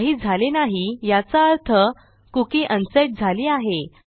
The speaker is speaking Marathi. काही झाले नाही याचा अर्थ कुकी अनसेट झाली आहे